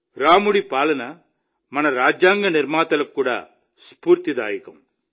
రాముడి పాలన మన రాజ్యాంగ నిర్మాతలకు కూడా స్ఫూర్తిదాయకం